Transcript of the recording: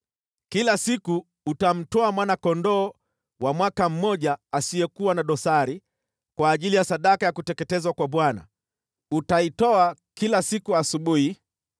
“ ‘Kila siku utamtoa mwana-kondoo wa mwaka mmoja asiyekuwa na dosari kwa ajili ya sadaka ya kuteketezwa kwa Bwana , utaitoa kila siku asubuhi.